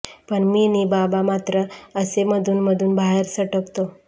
पण मी नि बाबा मात्र असे मधून मधून बाहेर सटकतो